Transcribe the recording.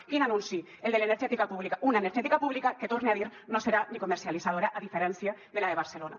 quin anunci el de l’energètica pública una energètica pública que ho torne a dir no serà ni comercialitzadora a diferència de la de barcelona